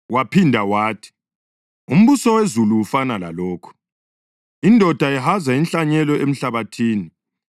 Waphinda wathi, “Umbuso wezulu ufana lalokhu. Indoda ihaza inhlanyelo emhlabathini.